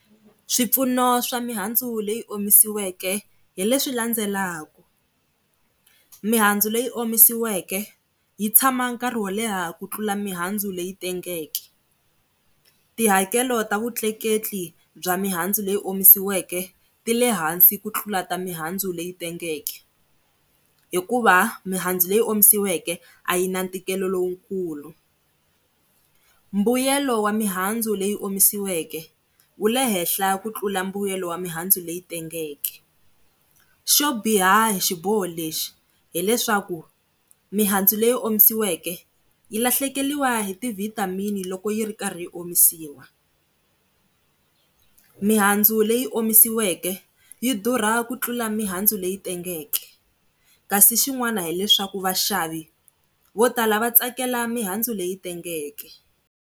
Swipfuno swa mihandzu leyi omisiweke hi leswi landzelaku, mihandzu leyi omisiweke yi tshama nkarhi wo leha ku tlula mihandzu leyi tengeke. Tihakelo ta vutleketli bya mihandzu leyi omisiweke ti lehansi ku tlula ta mihandzu leyi tengeke, hikuva mihandzu leyi omisiweke a yi na ntikelo lowukulu. Mbuyelo wa mihandzu leyi omisiweke wu le henhla ku tlula mbuyelo wa mihandzu leyi tengeke, xo biha hi xiboho lexi hileswaku mihandzu leyi omisiweke yi lahlekeriwa hi ti-vitamin-i loko yi ri karhi omisiwa. Mihandzu leyi omisiweke yi durha ku tlula mihandzu leyi tengeke kasi xin'wana hileswaku vaxavi vo tala va tsakela mihandzu leyi tengeke.